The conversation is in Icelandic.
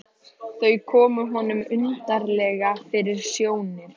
Þau komu honum undarlega fyrir sjónir.